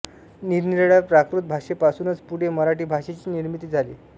निरनिराळ्या प्राकृत भाषेपासूनच पुढे मराठी भाषेची निर्मिती झाली